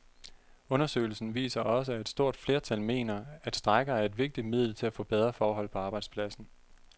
Undersøgelsen viser også, at et stort flertal mener, at strejker er et vigtigt middel til at få bedre forhold på arbejdspladsen.